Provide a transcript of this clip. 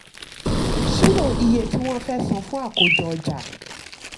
ṣírò iye tí wọ́n fẹ́ san fún akójọ ọjà.